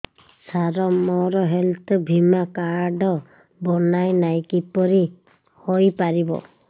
ସାର ମୋର ହେଲ୍ଥ ବୀମା କାର୍ଡ ବଣାଇନାହିଁ କିପରି ହୈ ପାରିବ